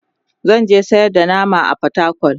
zanje sayar da nama a portacol